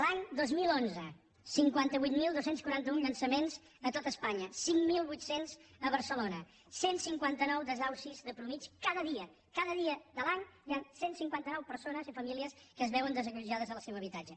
l’any dos mil onze cinquanta vuit mil dos cents i quaranta un llançaments a tot espanya cinc mil vuit cents a barcelona cent i cinquanta nou desnonaments de mitjana cada dia cada dia de l’any hi han cent i cinquanta nou persones i famílies que es veuen desallotjades del seu habitatge